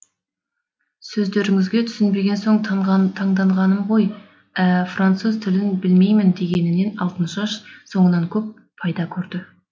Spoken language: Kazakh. сөздеріңізге түсінбеген соң таңданғаным ғой ә француз тілін білмеймін дегенінен алтыншаш соңынан көп пайда көрді